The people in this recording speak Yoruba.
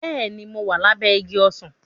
Bẹ́ẹ̀ni, mo wà lábẹ́ igi ọsàn